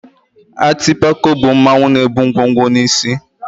Atịpako bụ mmanwụ na-ebu ngwo ngwo n'isí.